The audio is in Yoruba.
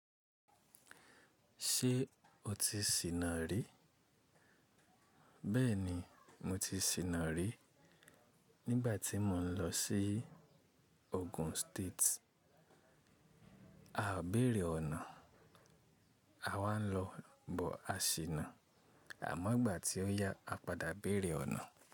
Ṣé o ti sìnà rí? Bẹ́ẹ̀ni mo ti sìnà rí nígbà tí mò ń lọ sí Ogun State. A ò béèrè ọ̀nà, a wá ń lọ, bọ̀ a sìnà. Àmọ́ ìgbà tí ó yá, a padà béèrè ọ̀nà.